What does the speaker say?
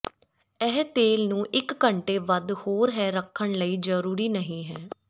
ਇਹ ਤੇਲ ਨੂੰ ਇਕ ਘੰਟੇ ਵੱਧ ਹੋਰ ਹੈ ਰੱਖਣ ਲਈ ਜ਼ਰੂਰੀ ਨਹੀ ਹੈ